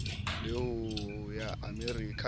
la ho ya amerika le